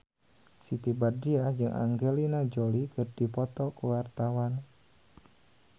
Siti Badriah jeung Angelina Jolie keur dipoto ku wartawan